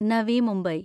Navi Mumbai